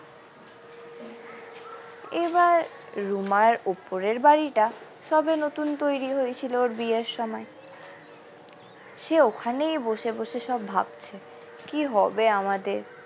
এবার রুমার উপরের বাড়িটা সবে নতুন তৈরি হয়েছিল ওর বিয়ের সময় সে ওখানেই বসে বসে সব ভাবছে কি হবে আমাদের।